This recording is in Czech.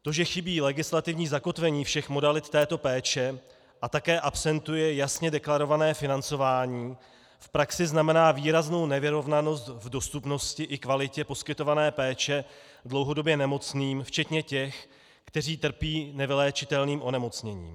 To, že chybí legislativní zakotvení všech modalit této péče a také absentuje jasně deklarované financování, v praxi znamená výraznou nevyrovnanost v dostupnosti i kvalitě poskytované péče dlouhodobě nemocným včetně těch, kteří trpí nevyléčitelným onemocněním.